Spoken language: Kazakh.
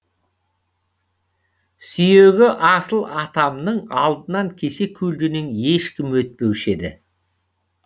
сүйегі асыл атамның алдынан кесе көлденең ешкім өтпеуші еді